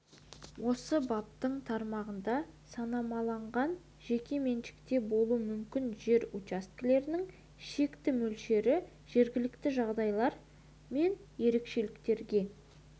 осы баптың тармағында санамаланған жеке меншікте болуы мүмкін жер учаскелерінің шекті мөлшері жергілікті жағдайлар мен ерекшеліктерге